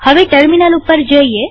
હવે ટર્મિનલ ઉપર જઈએ